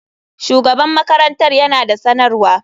Shugaban makarantar yana da sanarwa.